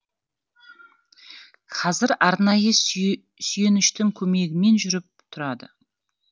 қазір арнайы сүйеніштің көмегімен жүріп тұрады